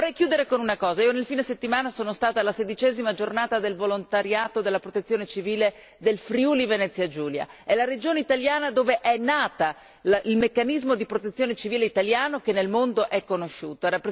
Vorrei chiudere con una cosa nel fine settimana sono stata alla 16 a giornata del volontariato della protezione civile del Friuli Venezia Giulia, è la regione italiana dove è nato il meccanismo di protezione civile italiano che nel mondo è conosciuto.